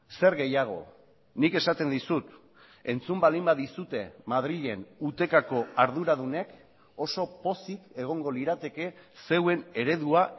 zer gehiago nik esaten dizut entzun baldin badizute madrilen utecako arduradunek oso pozik egongo lirateke zeuen eredua